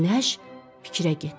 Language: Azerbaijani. Günəş fikrə getdi.